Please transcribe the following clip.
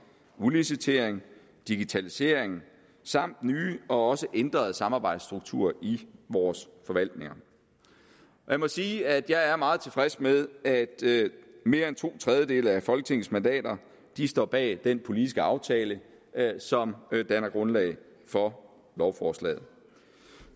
udlicitering digitalisering samt nye og også ændrede samarbejdsstrukturer i vores forvaltninger jeg må sige at jeg er meget tilfreds med at mere end to tredjedele af folketingets mandater står bag den politiske aftale som danner grundlag for lovforslaget